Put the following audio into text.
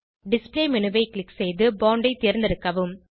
display மேனு ஐ click செய்து போண்ட் ஐ தேர்ந்தெடுக்கவும்